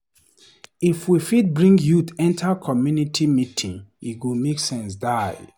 If we fit bring youth enter community meeting, e go make sense die.